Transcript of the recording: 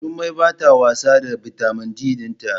Jummai bata wasa da bitamin D dinta